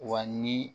Wa ni